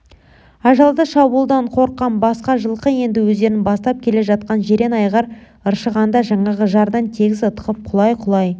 ажалды шабуылдан қорыққан басқа жылқы енді өздерін бастап келе жатқан жирен айғыр ыршығанда жаңағы жардан тегіс ытқып құлай-құлай